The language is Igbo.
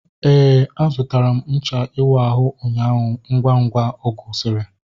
Éè, a zụtara m ncha iwu ahụ ụnyaahụ ngwa ngwa ọ gwusiri